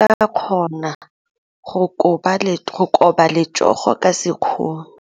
O ka kgona go koba letsogo ka sekgono.